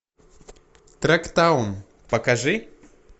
трактаун покажи